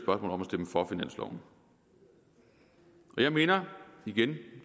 om at stemme for finansloven jeg minder igen